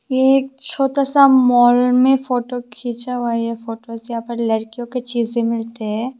ये एक छोटा सा मॉल में फोटो खींचा हुआ यह फोटो जहां पर लड़कियों के चीजें मिलते हैं।